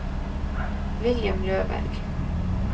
William Løberg